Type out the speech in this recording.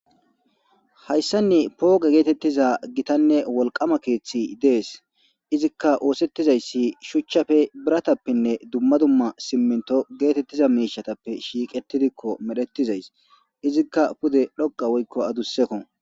Hayssanni pooga geetettiza gitanne wolqama keeththi dees izikka oosettizayssi shuchchafe biratappenne dumma dumma simminto geetettiza miishatappe shiiqetidikko medhetizays izikka pude dhoqa woykko adusseko.